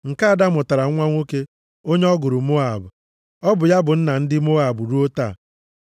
Nke ada mụtara nwa nwoke onye ọ gụrụ Moab. Ọ bụ ya bụ nna nna ndị Moab ruo taa.